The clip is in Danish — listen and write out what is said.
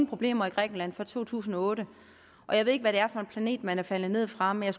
problemer i grækenland før to tusind og otte jeg ved ikke hvad det er for en planet man er faldet ned fra men